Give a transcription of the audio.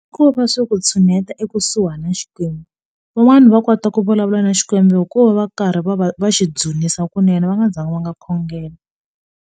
Kova swo ku tshuneta ekusuhi na xikwembu van'wani va kota ku vulavula na xikwembu hi ku va va karhi va va va xi dzunisa kunene va nga zangi va nga khongela.